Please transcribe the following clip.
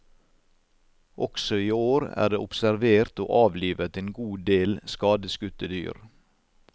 Også i år er det observert og avlivet en god del skadeskutte dyr.